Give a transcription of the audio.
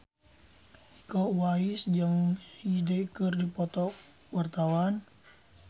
Iko Uwais jeung Hyde keur dipoto ku wartawan